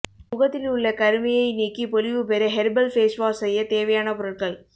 முகத்தில் உள்ள கருமையை நீக்கி பொலிவு பெற ஹெர்பல் ஃபேஸ்வாஷ் செய்ய தேவையான பொருள்கள்